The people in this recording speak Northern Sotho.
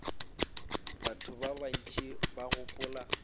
batho ba bantši ba gopola